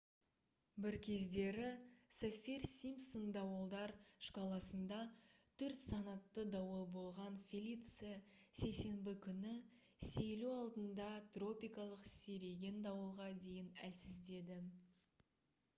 бір кездері саффир-симпсон дауылдар шкаласында 4-санатты дауыл болған «фелиция» сейсенбі күні сейілу алдында тропикалық сиреген дауылға дейін әлсіздеді